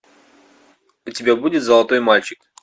у тебя будет золотой мальчик